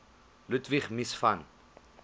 ludwig mies van